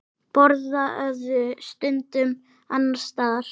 Borðuðu stundum annars staðar.